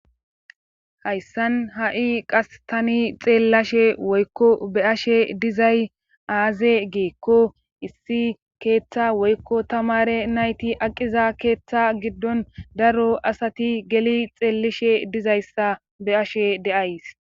hayssan ha7i qas tani xeellashe woykko be ashe dizay aaze giikko issi keeththa woykko tamare nayti aqiza keeththa giddon daro asati geli xeellishe dizayssa be ashe deays